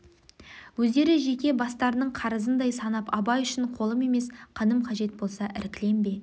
өздері жеке бастарының қарызындай санап абай үшін қолым емес қаным қажет болса іркілем бе